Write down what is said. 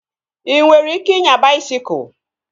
Ị nwere ike inya baisikụl?